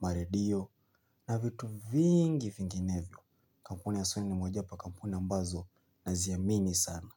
maredio na vitu vingi vinginevyo. Kampuni ya Sony ni moja wapo ya kampuni ambazo naziamini sana.